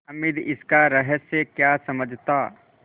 हामिद इसका रहस्य क्या समझता